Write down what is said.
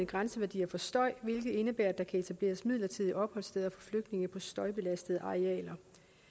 grænseværdier for støj hvilket indebærer at der kan etableres midlertidige opholdssteder for flygtninge på støjbelastede arealer